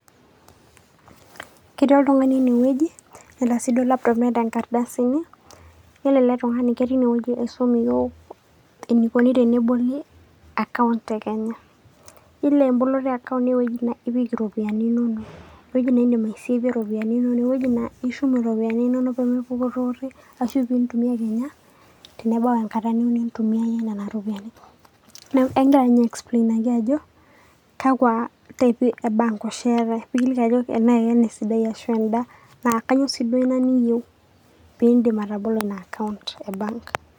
Ketii oltung'ani ene wueji neeta sii duo laptop neeta nkardasini, iyiolo ele tung'ani keti inewueji aisom iyiok enikuoni teneboli akaunt te Kenya. Iyiolo emboloto e akaunt naa ewoji nipik iropiani inonok. Ewoji niidim aisavei iropiani inonok, ewoji naa ishum iropiani inono pee empurori ashu piintumia kenya tenebau enkata niyeu nintumia iyie nena ropiani. Neeku egira ninye aiexplainaki ajo kaku type pi e bank oshi eetai, kekiliki ake enake ena esidai ashu enda naa kanyo sii duo ina niyeu piindim atabolo ina akaunt e bank.